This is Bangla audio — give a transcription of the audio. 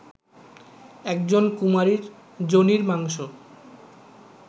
একজন কুমারীর যোনির মাংশ